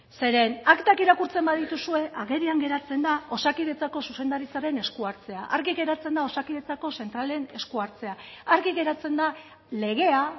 zeren aktak irakurtzen badituzue agerian geratzen da osakidetzako zuzendaritzaren eskuhartzea argi geratzen da osakidetzako zentralen eskuhartzea argi geratzen da legea